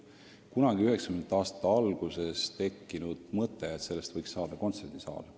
Kunagi 1990. aastate alguses tekkis mõte, et kirikust võiks saada kontserdisaal.